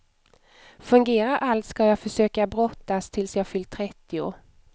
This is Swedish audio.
Fungerar allt skall jag försöka brottas tills jag fyllt trettio.